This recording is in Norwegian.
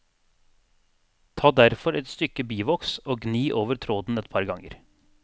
Ta derfor et stykke bivoks og gni over tråden et par ganger.